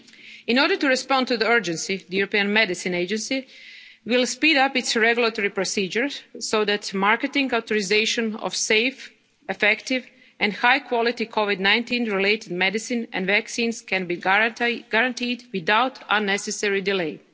aid initiative. In order to respond to the urgency, the European Medicines Agency will speed up its regulatory procedures so that marketing authorisation of safe, effective and high quality COVID-19 related medicines and vaccines can be guaranteed without